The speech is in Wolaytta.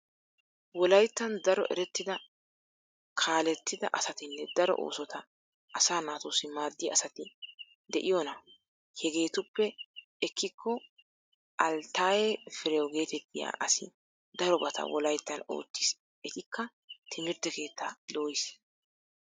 Wolayttan daro erettida kaalettida asatinne daro oosota asaa naatussi maaddiya asati de'ona. Hegeetuppe ekkikko altaaye firew geetettiya asi darobata wolayttan ottis etikka timirtte keettaa dooyiis.